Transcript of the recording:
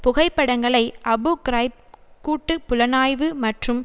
புகைப்படங்களை Abu Ghraib கூட்டு புலனாய்வு மற்றும்